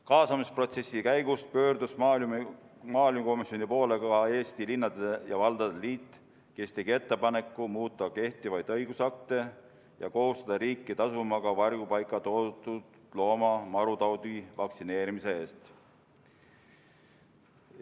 Kaasamisprotsessi käigus pöördus maaelukomisjoni poole ka Eesti Linnade ja Valdade Liit, kes tegi ettepaneku muuta kehtivaid õigusakte ja kohustada riiki tasuma ka varjupaika toodud looma marutaudivastase vaktsineerimise eest.